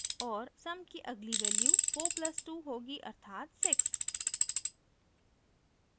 और sum की अगली value 4 + 2 होगी अर्थात 6